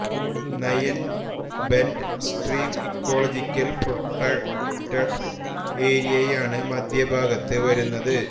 nine bend stream ecological protected ഏരിയയാണ് മധ്യഭാഗത്ത് വരുന്നത്